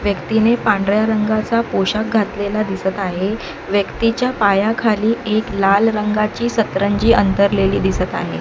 व्यक्तीने पांढऱ्या रंगाचा पोशाख घातलेला दिसत आहे व्यक्तीच्या पायाखाली एक लाल रंगाची सतरंजी अंथरलेली दिसत आहे.